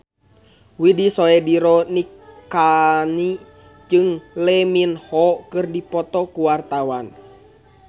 Widy Soediro Nichlany jeung Lee Min Ho keur dipoto ku wartawan